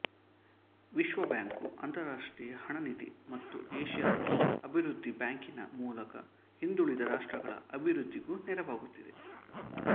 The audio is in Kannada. ವಿಶ್ವಬ್ಯಾಂಕು ಅಂತರರಾಷ್ಟ್ರೀಯ ಹಣ ನಿಧಿ ಮತ್ತು ಏಷ್ಯದ ಅಭಿವೃದ್ಧಿ ಬ್ಯಾಂಕಿನ ಮೂಲಕ ಹಿಂದುಳಿದ ರಾಷ್ಟ್ರಗಳ ಅಭಿವೃದ್ಧಿಗೂ ನೆರವಾಗುತ್ತಿದೆ